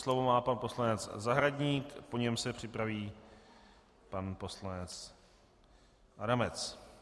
Slovo má pan poslanec Zahradník, po něm se připraví pan poslanec Adamec.